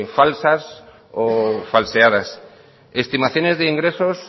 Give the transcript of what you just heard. falsas o falseadas estimaciones de ingresos